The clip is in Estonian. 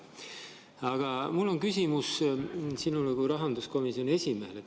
Aga mul on küsimus sinule kui rahanduskomisjoni esimehele.